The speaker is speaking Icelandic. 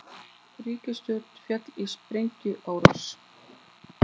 Ríkisstjóri féll í sprengjuárás